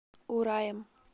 ураем